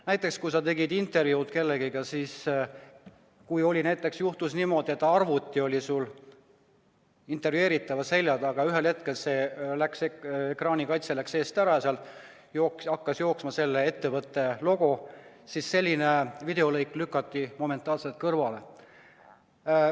Näiteks kui sa tegid kellegagi intervjuud ja juhtus niimoodi, et arvuti oli intervjueeritava selja taga, ühel hetkel ekraanikaitse läks eest ära ja seal hakkas jooksma ettevõtte logo, siis selline videolõik lükati momentaanselt kõrvale.